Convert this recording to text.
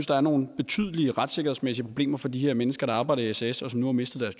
der er nogle betydelige retssikkerhedsmæssige problemer for de her mennesker der arbejder i sas og som nu har mistet